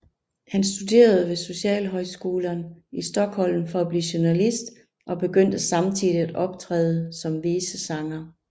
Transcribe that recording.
Han studerede ved Socialhögskolan i Stockholm for at blive journalist og begyndte samtidigt at optræde som visesanger